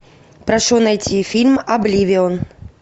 прошу найти фильм обливион